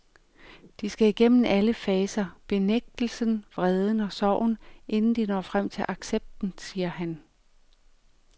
De skal igennem alle faser, benægtelsen, vreden og sorgen, inden de når frem til accepten, siger han.